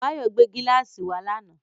Báyọ̀ gbé gíláàsì wá lánàá.